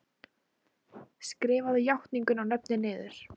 Skrifaðu játninguna og nöfnin niður.